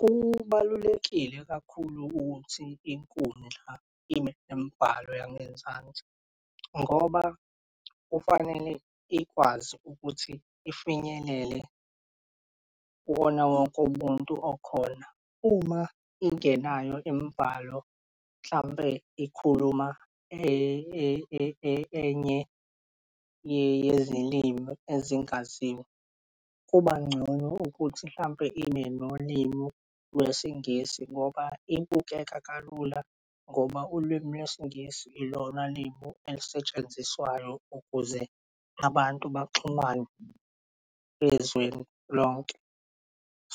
Kubalulekile kakhulu ukuthi inkundla ibe nemibhalo yangezansi ngoba kufanele ikwazi ukuthi ifinyelele kuwona wonke umuntu okhona. Uma ingenayo imibhalo hlampe ikhuluma enye yezilimi ezingaziwa, kuba ngcono ukuthi mhlampe ime nolimi lweSingisi ngoba ibukeka kalula ngoba ulwimi lweSingisi ilona lim'elisetshenziswayo ukuze abantu baxhumane ezweni lonke.